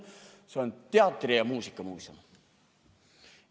See on teatri- ja muusikamuuseum.